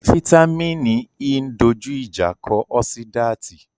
Fítámìnì E ń dojú ìjà kọ ọ́sídáàtì